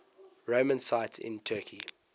roman sites in turkey